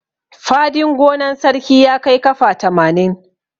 Fadin gonan sarki ya kai kafa tamanin.